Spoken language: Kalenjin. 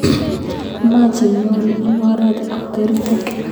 Much inyoru ing oret ap kerutin.